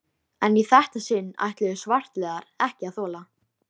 Hvað komu henni við annarra endadægur?